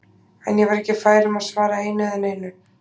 En ég var ekki fær um að svara einu eða neinu.